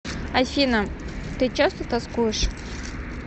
афина ты часто тоскуешь